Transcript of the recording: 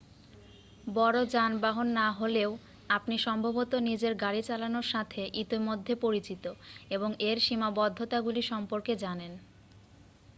বড় যানবাহন না হলেও আপনি সম্ভবত নিজের গাড়ি চালানোর সাথে ইতিমধ্যে পরিচিত এবং এর সীমাবদ্ধতাগুলি সম্পর্কে জানেন